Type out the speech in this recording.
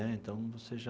Né então, você já...